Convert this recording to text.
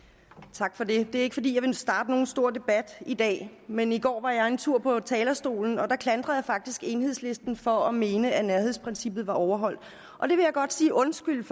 tak for det det er ikke fordi jeg vil starte nogen stor debat i dag men i går var jeg en tur på talerstolen og der klandrede jeg faktisk enhedslisten for at mene at nærhedsprincippet var overholdt og det vil jeg godt sige undskyld